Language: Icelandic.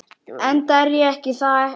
Enda er ég það ekki.